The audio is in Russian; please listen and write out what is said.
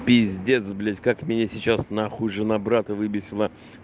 пиздец блять как мне сейчас нахуй жена брата выбесили